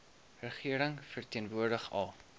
regering verteenwoordig al